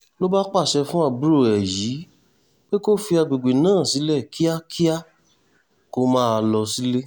ló bá pàṣẹ fún àbúrò ẹ̀ yìí pé kó fi àgbègbè náà sílẹ̀ kíákíá kó máa lọ sílé